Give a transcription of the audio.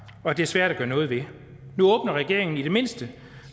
og at det er svært at gøre noget ved nu åbner regeringen i det mindste